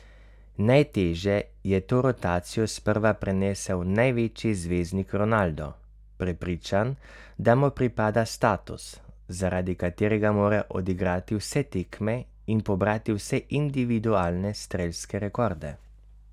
Najtežje je to rotacijo sprva prenesel največji zvezdnik Ronaldo, prepričan, da mu pripada status, zaradi katerega mora odigrati vse tekme in pobrati vse individualne strelske rekorde.